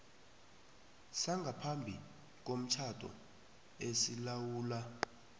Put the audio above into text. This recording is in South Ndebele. sangaphambi komtjhado esilawula